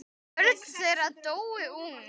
Börn þeirra dóu ung.